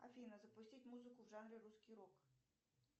афина запустить музыку в жанре русский рок